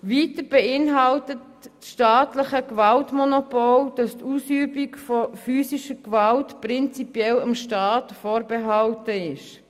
Weiter beinhaltet das staatliche Gewaltmonopol, dass die Ausübung von physischer Gewalt prinzipiell dem Staat vorbehalten ist.